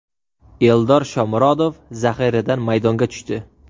Eldor Shomurodov zaxiradan maydonga tushdi.